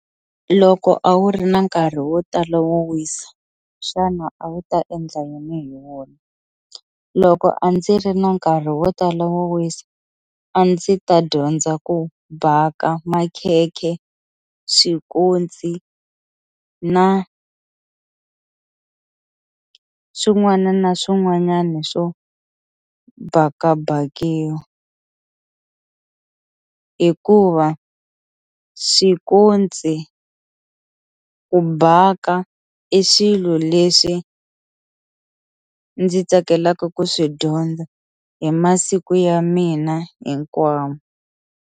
Loko a wu ri na nkarhi wo tala wo wisa xana a wu ta endla yini hi wona, loko a ndzi ri na nkarhi wo tala wo wisa a ndzi ta dyondza ku baka makhekhe, swikontsi na swin'wana na swin'wanyana swo bakabakiwa hikuva swikontsi ku baka i xilo lexi ndzi tsakelaka ku swi dyondza hi masiku ya mina hinkwayo.